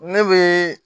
Ne bɛ